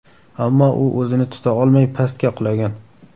Ammo u o‘zini tuta olmay, pastga qulagan.